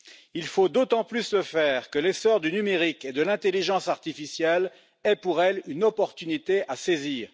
Il faut d'autant plus le faire que l'essor du numérique et de l'intelligence artificielle est pour elles une opportunité à saisir.